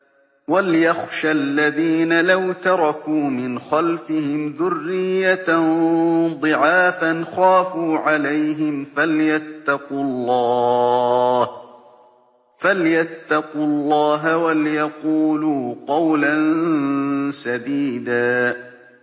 وَلْيَخْشَ الَّذِينَ لَوْ تَرَكُوا مِنْ خَلْفِهِمْ ذُرِّيَّةً ضِعَافًا خَافُوا عَلَيْهِمْ فَلْيَتَّقُوا اللَّهَ وَلْيَقُولُوا قَوْلًا سَدِيدًا